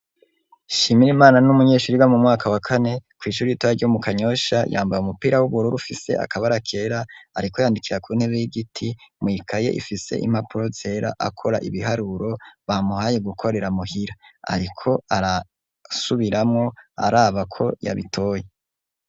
Shimira imana n'umunyeshuri wa mu mwaka wa kane ku ishuri itoya ryo mu kanyosha yambare umupira w'ubururu ufise akaba arakera ariko yandikira kuntera y'igiti muikaye ifise impapuro nzera akora ibiharuro bamuhaye gukorera mu hira ariko arasubiramo araba ko yabitoye.